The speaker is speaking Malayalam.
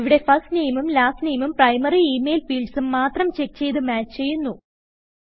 ഇവിടെ ഫർസ്റ്റ് നാമെ ഉം ലാസ്റ്റ് നാമെ ഉം പ്രൈമറി ഇമെയിൽ fieldsഉം മാത്രം ചെക്ക്ചെയ്ത് മാച്ച് ചെയ്യുന്നു